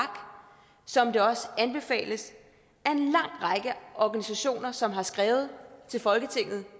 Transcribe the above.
som det også anbefales af organisationer som har skrevet til folketinget